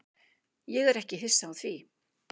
Ég er ekki hissa á því.